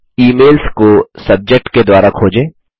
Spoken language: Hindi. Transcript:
ई मेल्स को सब्जेक्ट के द्वारा खोजें